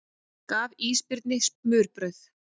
Gaf ísbirni smurbrauð